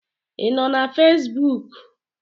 Ị nọ na Fesbuk?